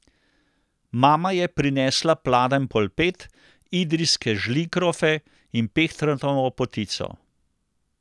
Mama je prinesla pladenj polpet, idrijske žlinkrofe in pehtranovo potico.